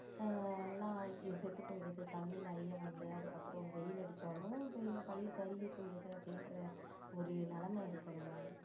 ஆஹ் எல்லாம் செத்து போயிடுது தண்ணீர் நிறைய வந்து அதுக்கப்புறம் வெயில் அடிச்சாலும் பயி~ பயிர் கருகி போயிடுது அப்படின்ற ஒரு நிலைமை இருக்கிறதால